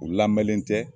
U lamɛnnen tɛ